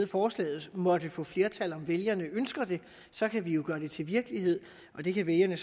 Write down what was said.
forslaget måtte få flertal om vælgerne ønsker det så kan vi jo gøre det til virkelighed det kan vælgerne